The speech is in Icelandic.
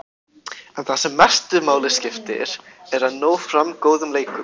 En það sem mestu máli skiptir er að ná fram góðum leikum.